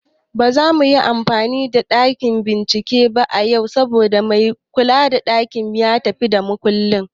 Ba zamu yi amfani da ɗakin bincike ba yau, saboda mai kula da ɗakin ya tafi da makulli